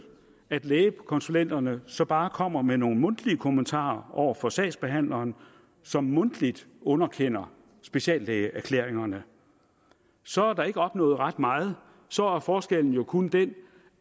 at lægekonsulenterne så bare kommer med nogle mundtlige kommentarer over for sagsbehandleren som mundtligt underkender speciallægeerklæringerne så er der ikke opnået ret meget og så er forskellen jo kun den